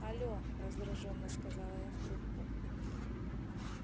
але раздражённо сказала я в трубку